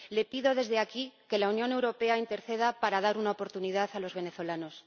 Le pido desde aquí que la Unión Europea interceda para dar una oportunidad a los venezolanos.